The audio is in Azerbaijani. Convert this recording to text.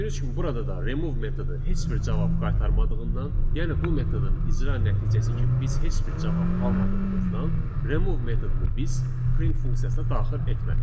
Gördüyünüz kimi, burada da remove metodu heç bir cavab qaytarmadığından, yəni bu metodun icra nəticəsi kimi biz heç bir cavab almadığımızdan remove metodunu biz print funksiyasına daxil etmədik.